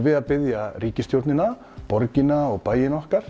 við að biðja ríkisstjórnina borgina og bæina okkar